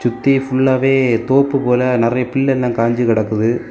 தி ஃபுல்லாவே தோப்பு போல நெறய பில்லெல்லா காஞ்சி கெடக்குது.